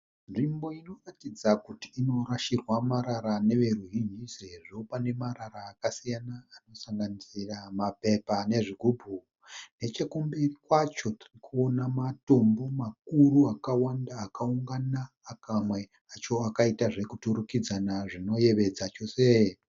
Nzvimbo inoratidza kuti inorashirwa marara neveruzhinji sezvo pane marara akasiyana anosanganisira mapepa nezvigubhu, Nechekumberi kwacho ndirikuona matombo makuru akawanda akaungana pamwe acho akaita zveturikidzana zvinoyevedza chose.